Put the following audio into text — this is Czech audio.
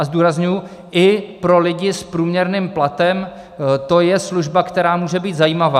A zdůrazňuji, i pro lidi s průměrným platem to je služba, která může být zajímavá.